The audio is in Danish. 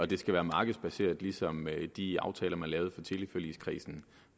det skal være markedsbaseret ligesom de aftaler er man lavede i teleforligskredsen